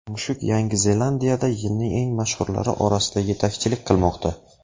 Mushuk Yangi Zelandiyada yilning eng mashhurlari orasida yetakchilik qilmoqda.